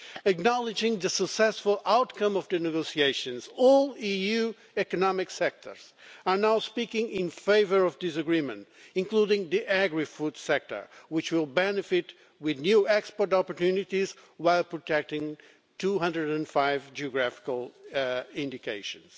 Acknowledging the successful outcome of the negotiations, all EU economic sectors are now speaking in favour of this agreement, including the agri-food sector, which will benefit from new export opportunities while protecting 205 geographical indications.